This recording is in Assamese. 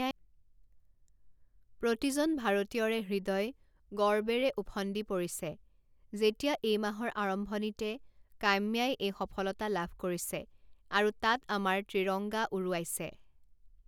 প্ৰতিজন ভাৰতীয়ৰে হৃদয় গৰ্বেৰে উফণ্ডি পৰিছে যেতিয়া এই মাহৰ আৰম্ভণিতে কাম্যাই এই সফলতা লাভ কৰিছে আৰু তাত আমাৰ ত্ৰিৰংগা উৰুৱাইছে।